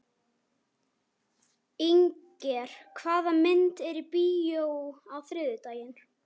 Inger, hvaða myndir eru í bíó á þriðjudaginn?